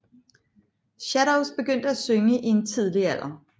Shadows begyndte at synge i en tidlig alder